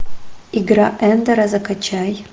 игра эндера закачай